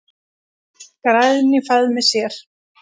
græn í faðmi sér.